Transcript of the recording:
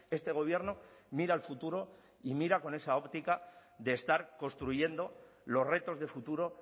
este gobierno mira al futuro y mira con esa óptica de estar construyendo los retos de futuro